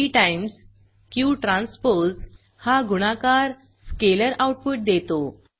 P times Q transpose हा गुणाकार scalar output देतो